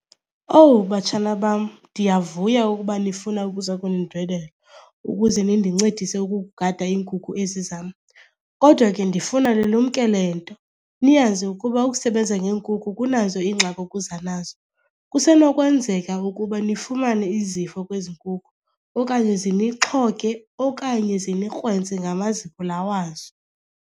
Owu batshana bam, ndiyavuya ukuba nifuna ukuzokundindwendwela ukuze nindincedise ukugada iinkukhu ezi zam. Kodwa ke ndifuna nilumkele nto, niyazi ukuba ukusebenza ngeenkukhu kunazo iingxaki okuza nazo. Kusenokwenzeka ukuba nifumane izifo kwezi nkukhu okanye zinixhoge okanye zinikrwentse ngamazipho la wazo.